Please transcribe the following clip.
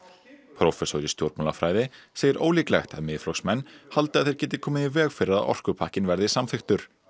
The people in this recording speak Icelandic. prófessor í stjórnmálafræði segir ólíklegt að Miðflokksmenn haldi að þeir geti komið í veg fyrir að orkupakkinn verði samþykktur